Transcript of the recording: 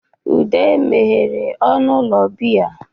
Udo meghere ọnụ ụlọ biya.